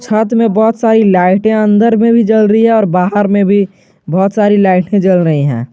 साथ में बहुत सारी लाइटे अंदर में भी जल रही है और बाहर में भी बहोत सारी लाइटें जल रही है।